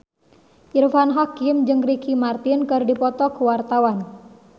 Irfan Hakim jeung Ricky Martin keur dipoto ku wartawan